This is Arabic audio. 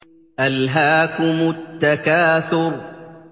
أَلْهَاكُمُ التَّكَاثُرُ